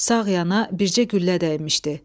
Sağ yana bircə güllə dəymişdi.